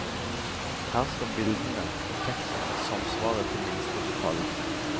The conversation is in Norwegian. Her skal bildene og teksten samsvare til minste detalj.